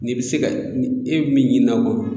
N'e bi se ka ni e be min ɲinina o kɔnɔ